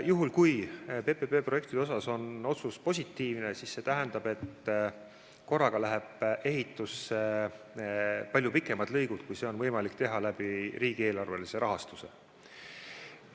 Juhul kui otsus nende projektide rakendamise kohta on positiivne, siis see tähendab, et korraga lähevad ehitusse palju pikemad lõigud, kui oleks võimalik teha riigieelarvelise rahastuse abil.